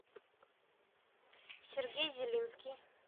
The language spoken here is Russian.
сергей зелинский